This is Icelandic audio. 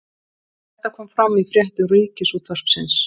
Þetta kom fram í fréttum Ríkisútvarpsins